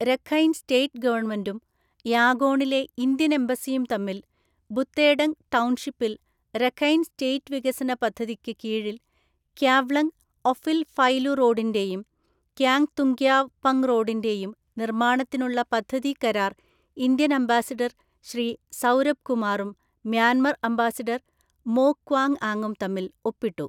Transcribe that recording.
Rakhine State ഗവണ്മെന്റും യാഗോണിലെ Indian‍ എംബസിയും തമ്മില്‍ ബുത്തേഡങ് ടൗൺഷിപ്പില്‍ Rakhine State വികസന പദ്ധതിക്ക് കീഴില്‍ ക്യാവ്ലങ് ഒഫില്ഫൈലുറോഡിന്റെയും ക്യാങ്തുങ്ക്യാവ് പങ്റോഡിന്റെയും നിർമ്മാണത്തിനുള്ള പദ്ധതി കരാര്‍ ഇന്ത്യന്‍ അംബാസിഡര്‍ ശ്രീസൗരഭ് കുമാറും മ്യാന്മര്‍ അംബാസിഡര്‍ മോ ക്വാങ്ആങും തമ്മില്‍ ഒപ്പിട്ടു.